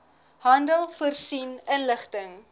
handel voorsien inligting